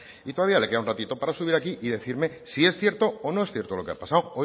y todavía le queda un ratito para subir aquí y decirme si es cierto o no es cierto lo que ha pasado